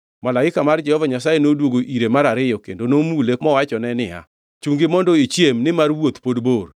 Malaika mar Jehova Nyasaye noduogo ire mar ariyo kendo nomule mowachone niya, “Chungi mondo ichiem nimar wuoth pod bor.”